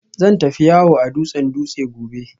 Zan tafi yawo a dutsen Dutse gobe